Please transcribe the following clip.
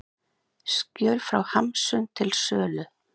Skjöl frá Hamsun til sölu